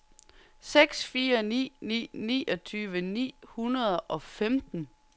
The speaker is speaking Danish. seks fire ni ni niogtyve ni hundrede og femten